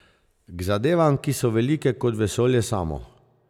K zadevam, ki so velike kot vesolje samo.